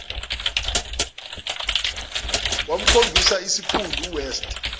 wamkhombisa isiphundu uwest